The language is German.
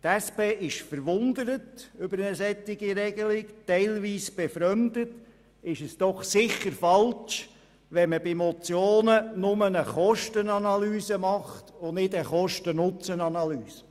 Über eine solche Regelung ist die SP verwundert und teilweise befremdet, ist es doch sicher falsch, wenn man bei Motionen lediglich eine Kostenanalyse macht und nicht eine Kosten-Nutzen-Analyse.